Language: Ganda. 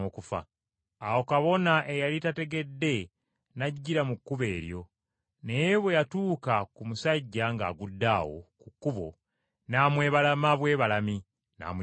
Awo kabona eyali tategedde n’ajjira mu kkubo eryo, naye bwe yatuuka ku musajja ng’agudde awo ku kkubo n’amwebalama bwebalami n’amuyitako.